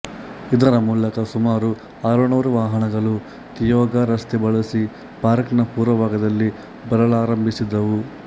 ಇದರ ಮೂಲಕ ಸುಮಾರು ಆರುನೂರು ವಾಹನಗಳು ತಿಯೊಗಾ ರಸ್ತೆ ಬಳಸಿ ಪಾರ್ಕ್ ನ ಪೂರ್ವ ಭಾಗದಲ್ಲಿ ಬರಲಾರಂಭಿಸಿದವು